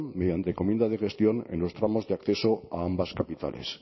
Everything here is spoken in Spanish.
mediante encomiendas de gestión en los tramos de acceso a ambas capitales